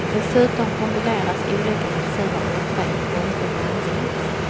Dessutom kombineras olika mediciner ofta i en konstig blandning.